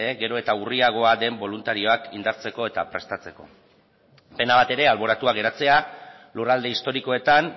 gero eta urriagoa den boluntarioak indartzeko eta prestatzeko pena bat ere alboratua geratzea lurralde historikoetan